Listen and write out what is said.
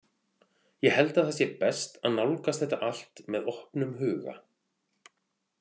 Ég held að það sé best að nálgast þetta allt með opnum huga.